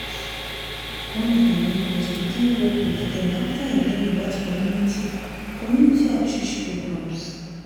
one of my neighbors begin work with them after e learn about community community outreach programs.